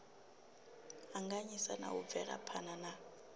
anganyisa na u bvelaphana na